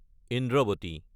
Indravati